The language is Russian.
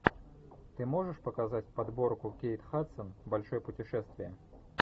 ты можешь показать подборку кейт хадсон большое путешествие